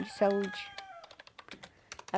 De saúde.